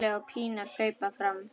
Palli og Pína hlaupa fram.